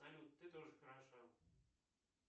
салют ты тоже хороша